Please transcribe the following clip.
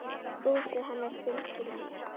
Brosið hennar fylgir mér.